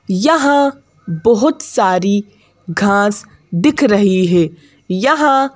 यहां बहुत सारी घास दिख रही है यहां--